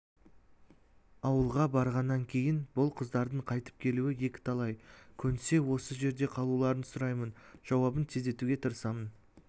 ауылға барғаннан кейін бұл қыздардың қайтып келуі екіталай көнсе осы жерде қалуларын сұраймын жауабын тездетуге тырысамын